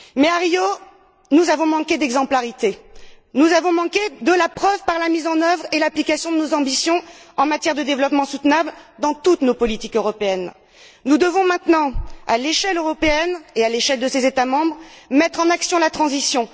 À Rio, nous avons manqué d'exemplarité, nous n'avons pas apporté la preuve de la mise en œuvre et de l'application de nos ambitions en matière de développement durable dans toutes nos politiques européennes. Nous devons à présent, à l'échelle européenne et à l'échelle de ses États membres, activer la transition.